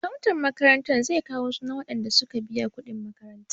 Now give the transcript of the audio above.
Akawun makarantar zai kawo sunan waɗanda suka biya kuɗin makaranta.